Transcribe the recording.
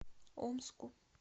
омску